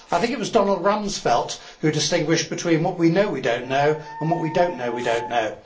I think it was Donald Rumsfeld who distinguished between what we know we don't know and what we don't know we don't know.